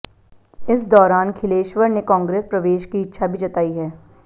इस दौरान खिलेश्वर ने कांग्रेस प्रवेश की इच्छा भी जताई है